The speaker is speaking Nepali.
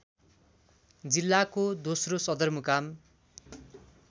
जिल्लाको दोस्रो सदरमुकाम